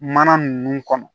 Mana ninnu kɔnɔ